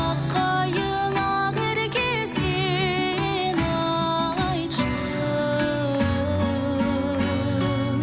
ақ қайың ақерке сен айтшы